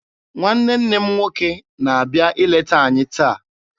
Nwanne nne m nwoke na-abịa ileta anyị taa.